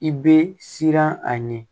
I bɛ siran a ɲɛ